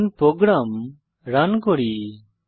এখন program run করি